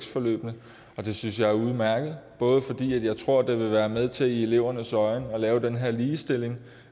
forløbene og det synes jeg er udmærket fordi jeg tror at det vil være være med til i elevernes øjne at lave den her ligestilling